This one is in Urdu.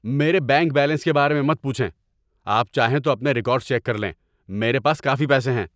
میرے بینک بیلنس کے بارے میں مت پوچھیں۔ آپ چاہیں تو اپنے ریکارڈز چیک کر لیں۔ میرے پاس کافی پیسے ہیں۔